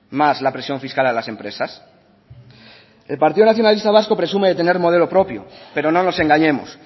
más la presión fiscal a las empresas el partido nacionalista vasco presume de tener modelo propio pero no nos engañemos